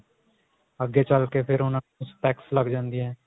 ਅੱਗੇ ਚੱਲ ਕੇ ਫ਼ੇਰ ਉਹਨਾ ਨੂੰ specks ਲੱਗ ਜਾਂਦੀਆਂ